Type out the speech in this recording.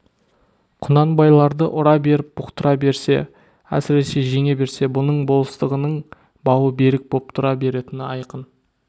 құнанбайларды ұра беріп бұқтыра берсе әсіресе жеңе берсе бұның болыстығының бауы берік боп тұра беретіні айқын